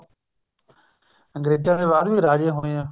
ਅੰਗਰੇਜਾਂ ਦੇ ਬਾਅਦ ਵੀ ਰਾਜੇ ਹੋਏ ਆ